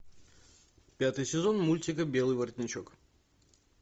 пятый сезон мультика белый воротничок